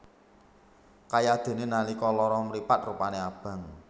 Kayadene nalika lara mripat rupane abang